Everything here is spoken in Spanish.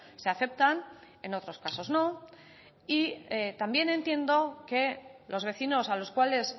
se aceptan en otros casos no y también entiendo que los vecinos a los cuales